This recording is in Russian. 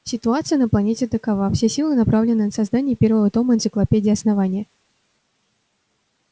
ситуация на планете такова все силы направлены на создание первого тома энциклопедии основания